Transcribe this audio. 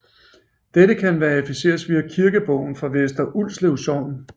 Dette kan verificeres via kirkebogen for Vester Ulslev Sogn